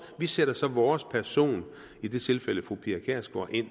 vi sætter så vores person i det tilfælde fru pia kjærsgaard ind